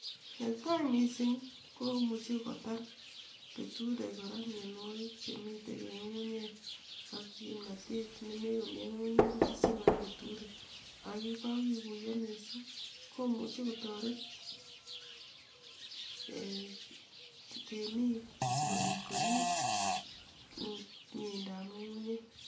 Netai mising komuche kotar keturek kora mianwokik chemitei en ngungunyek ak kimnatet nemakomitei en ngungunyek kotesyin kora keturek ak ye kakekuiyo mising komuche kotoret ee temik asikomuch korip mieindoab ngungunyek.